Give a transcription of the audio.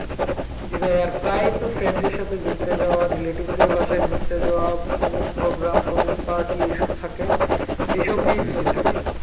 জি ভাই আর প্রায়তো friend দরে সাথে ঘুরতে যাওয়া আর relative দের বাসায় ঘুরতে যাওয়া ওমোক program তোমক party এই সব থাকে এইসব নিয়েই busy থাকি।